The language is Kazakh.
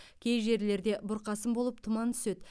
кей жерлерінде бұрқасын болып тұман түседі